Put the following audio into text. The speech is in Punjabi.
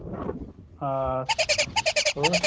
ਹਾਂ ਹ਼ੋਰ